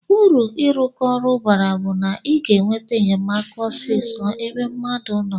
Uru irụkọ ọru onụ bara bu na iga enweta enyemaka osisọ ebe mmadu noo.